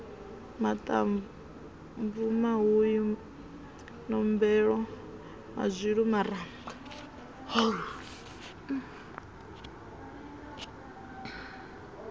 maṱamvu mahuyu nombelo mazwilu maramba